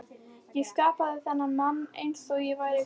Ég skapaði þennan mann einsog ég væri guð.